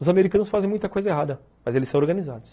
Os americanos fazem muita coisa errada, mas eles são organizados.